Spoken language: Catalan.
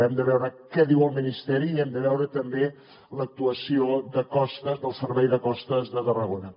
hem de veure què diu el ministeri i hem de veure també l’actuació de costes del servei de costes de tarragona